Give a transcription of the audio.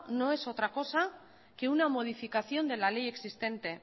no es otra cosa que una modificación de la ley existente